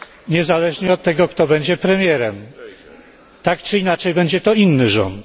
Niezależnie od tego, kto będzie premierem, tak czy inaczej będzie to inny rząd.